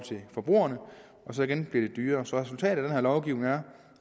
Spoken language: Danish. forbrugerne så igen bliver det dyrere resultatet af den her lovgivning er